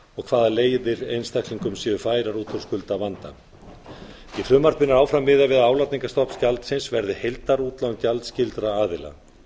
og hvaða leiðir einstaklingum séu færar út úr skuldavanda í frumvarpinu er áfram miðað við að álagningarstofni gjaldsins verði heildarútlán gjaldskyldra aðila